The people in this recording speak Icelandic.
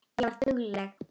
Ég var dugleg.